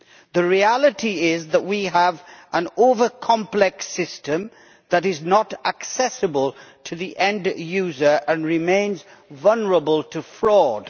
The reality is that we have an over complex system that is not accessible to the end user and remains vulnerable to fraud.